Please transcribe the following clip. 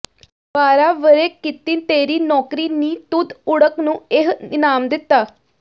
ਬਾਰਾਂ ਵਰ੍ਹੇ ਕੀਤੀ ਤੇਰੀ ਨੌਕਰੀ ਨੀ ਤੁਧ ਓੜਕ ਨੂੰ ਏਹ ਇਨਾਮ ਦਿੱਤਾ